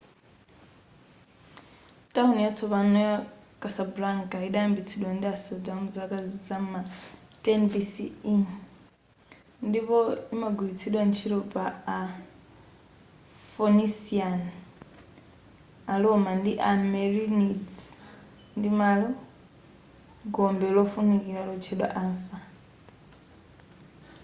tawuni yatsopano ya casablanca yidayambitsidwa ndi asodzi mu zaka zama 10 bce ndipo imagwilitsidwa ntchito ndi a phoenician a roma ndi a merenids ndi malo gombe lofunikira lotchedwa anfa